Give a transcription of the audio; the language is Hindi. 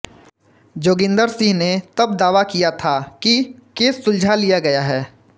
जोगिन्दर सिंह ने तब दावा किया था कि केस सुलझा लिया गया है